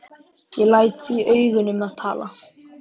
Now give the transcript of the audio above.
Ég læt því augun um að tala.